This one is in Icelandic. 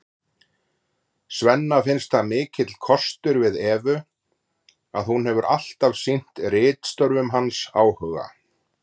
Svenna finnst það mikill kostur við Evu að hún hefur alltaf sýnt ritstörfum hans áhuga.